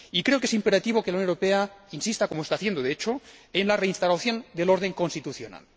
Y creo que es imperativo que la Unión Europea insista, como está haciendo de hecho, en la reinstauración del orden constitucional.